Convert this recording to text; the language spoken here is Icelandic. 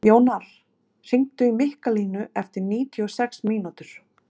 Jónar, hringdu í Mikkalínu eftir níutíu og sex mínútur.